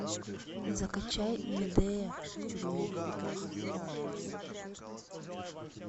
закачай медея в тюрьме